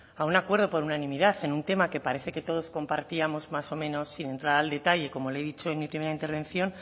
a un acuerdo por unanimidad en un tema que parece que todos compartíamos más o menos sin entrar al detalle como le he dicho en mi primera intervención